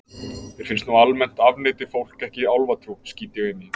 Mér finnst nú að almennt afneiti fólk ekki álfatrú, skýt ég inn í.